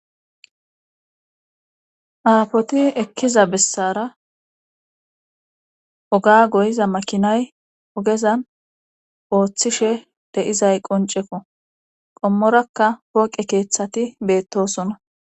Aafoti ekkiza bessara oga goyiza makinay ogezan ooththishe de'izay qonceko qommorakka pooqe keeththati beettosona.